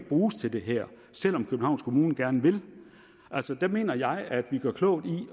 bruges til det her selv om københavns kommune gerne vil altså der mener jeg at vi gør klogt i